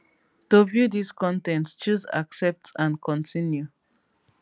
to view dis con ten t choose accept and continue